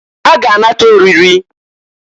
Ha ga-anata oriri.